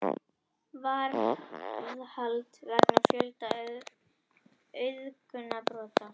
Varðhald vegna fjölda auðgunarbrota